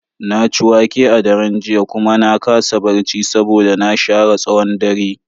Na ci wake a daren jiya kuma na kasa barci saboda na share tsawon dare.